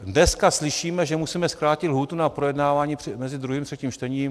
Dneska slyšíme, že musíme zkrátit lhůtu na projednávání mezi druhým a třetím čtením.